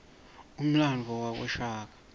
umlandvo wabashaka